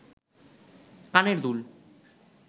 কানের দুল